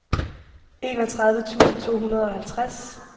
enogtredive tusind to hundrede og halvtreds